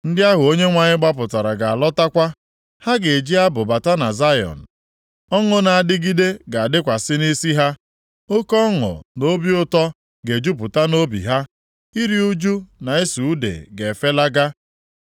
Ndị ahụ Onyenwe anyị gbapụtara ga-alọtakwa. Ha ga-eji abụ bata na Zayọn; ọṅụ na-adịgide ga-adịkwasị nʼisi ha, oke ọṅụ na obi ụtọ ga-ejupụta nʼobi ha, iru ụjụ na ịsụ ude ga-efelaga.